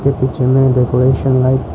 ये पिक्चर में decoration light --